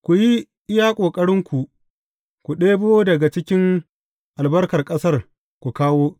Ku yi iya ƙoƙarinku ku ɗebo daga cikin albarkar ƙasar ku kawo.